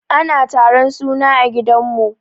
Ana taron suna a gidan mu.